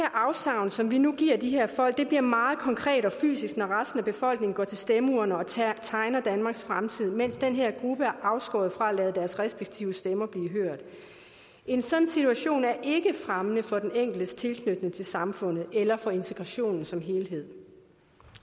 afsavn som vi nu giver de her folk bliver meget konkret og fysisk når resten af befolkningen går til stemmeurnerne og tegner danmarks fremtid mens den her gruppe er afskåret fra at lade deres respektive stemmer blive hørt en sådan situation er ikke fremmende for den enkeltes tilknytning til samfundet eller for integrationen som helhed